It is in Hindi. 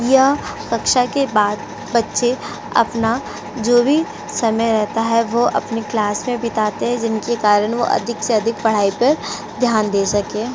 यह कक्षा के बाद बच्चे अपना जो भी समय रहता है वो अपनी क्लास में बिठाते हैं जिनके कारण वो अधिक से अधिक पढ़ाई पर ध्यान दे सकें।